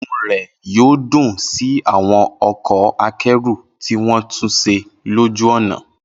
Inú rẹ̀ yóò dùn sí àwọn ọkọ̀ akẹ́rù tí wọ́n tún ṣe lójú ọ̀nà.